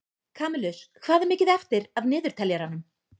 Kamilus, hvað er mikið eftir af niðurteljaranum?